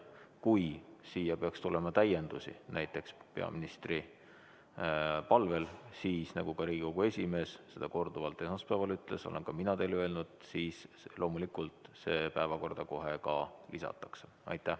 Kui siia peaks tulema täiendusi, näiteks peaministri palvel, siis, nagu Riigikogu esimees seda korduvalt esmaspäeval ütles ja olen ka mina teile öelnud, loomulikult see päevakorda kohe ka lisatakse.